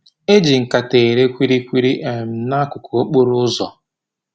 E ji nkata ere kwili kwili um n'akụkụ okporo ụzọ